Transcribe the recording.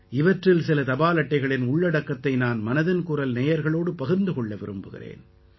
இவற்றில் சில தபால் அட்டைகளின் உள்ளடக்கத்தை நான் மனதின் குரல் நேயர்களோடு பகிர்ந்து கொள்ள விரும்புகிறேன்